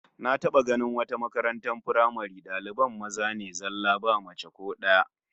Na taba ganin wata makaratar firamare daliban maza ne zallah ba mace ko daya